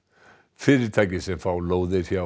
fyrirtæki sem fá lóðir hjá